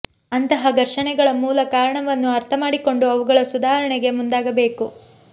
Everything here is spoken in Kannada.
ಅಂತಹ ಘರ್ಷಣೆಗಳ ಮೂಲ ಕಾರಣವನ್ನು ಅರ್ಥ ಮಾಡಿಕೊಂಡು ಅವುಗಳ ಸುಧಾರಣೆಗೆ ಮುಂದಾಗಬೇಕು